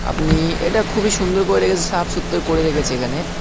আপনি-ই এটা খুবই সুন্দর করে রে সাফ সূত্র করে রেখেছে এখানে।